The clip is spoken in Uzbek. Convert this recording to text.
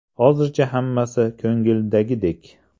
Hozircha hammasi ko‘ngildagidek.